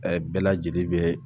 bɛɛ lajɛlen bɛ